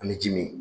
Ani ji min